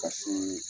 Ka so